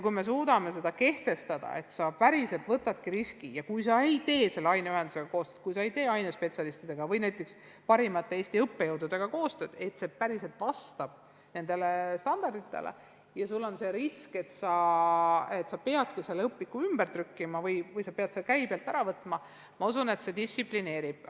Kui me suudame kehtestada, et kirjastus päriselt võtabki selle riski, et kui ta ei tee aineühenduste, ainespetsialistide või näiteks Eesti parimate õppejõududega koostööd, tagamaks, et õpik vastaks kehtestatud standarditele, siis ta peabki õpiku ümber trükkima või käibelt ära võtma – ma usun, et see distsiplineeriks.